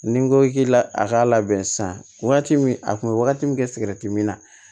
Ni n ko k'i la a k'a labɛn sisan wagati min a kun be wagati min kɛ sigɛrɛti mi na